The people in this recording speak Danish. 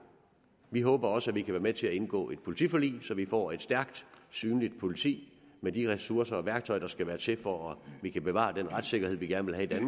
vi håber også at vi kan være med til at indgå et politiforlig så vi får et stærkt synligt politi med de ressourcer og værktøjer der skal til for at vi kan bevare den retssikkerhed vi gerne vil have